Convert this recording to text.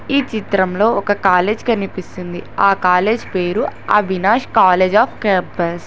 ఈ చిత్రంలో ఒక కాలేజ్ కనిపిస్తుంది ఆ కాలేజ్ పేరు అవినాష్ కాలేజీ అఫ్ క్యాంపస్ .